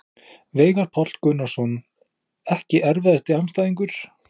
Veigar Páll Gunnarsson Ekki erfiðasti andstæðingur?